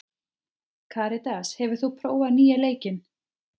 Karitas, hefur þú prófað nýja leikinn?